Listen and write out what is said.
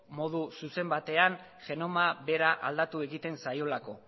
modu zuzen batean genoma bera aldatu egiten zaiolako